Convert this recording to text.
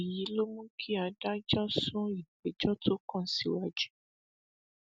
èyí ló mú kí adájọ sún ìgbẹjọ tó kàn síwájú